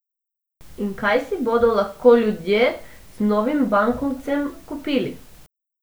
In kaj si bodo lahko ljudje z novim bankovcem kupili?